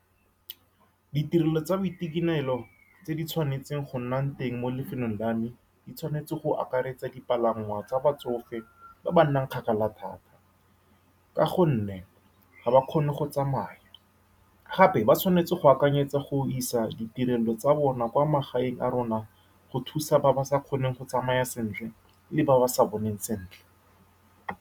Ditirelo tsa boitekanelo tse di tshwanetseng go nna teng mo lefelong la me di tshwanetse go akaretsa dipalangwa tsa batsofe ba ba nnang kgakala thata, ka gonne ga ba kgone go tsamaya. Gape, ba tshwanetse go akanyetsa go isa ditirelo tsa bona kwa magaeng a rona go thusa ba ba sa kgoneng go tsamaya sentle le ba ba sa boneng sentle.